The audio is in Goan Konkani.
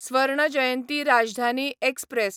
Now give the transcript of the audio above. स्वर्ण जयंती राजधानी एक्सप्रॅस